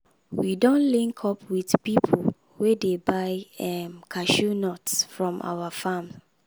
we don link up with people wey dey buy um cashew nuts from our farm.